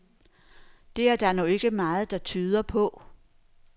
Det er der nu ikke meget, der tyder på.